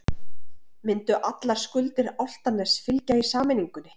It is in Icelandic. Myndu allar skuldir Álftaness fylgja í sameiningunni?